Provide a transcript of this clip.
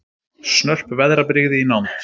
Snörp veðrabrigði í nánd